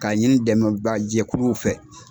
Ka ɲini dɛmɛbaga jɛkuluw fɛ.